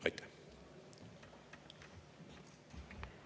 Aitäh!